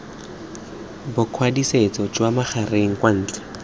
bokwadisetso jwa magareng kwa ntle